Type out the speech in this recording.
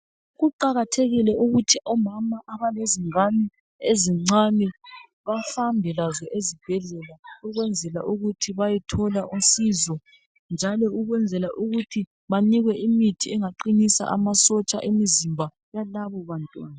Kuqakathekile ukuthi omama abalezingane ezincane bahambe lazo ezibhedlela ukwenzela ukuthi bayethola usizo njalo ukwenzela ukuthi banikwe imithi egaqinisa amasotsha emizimba yalabo bantwana.